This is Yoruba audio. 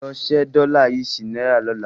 Lọ ṣe dollar yìí sí náírà lọ́la.